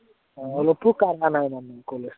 অলপো কামৰ নাই মানে college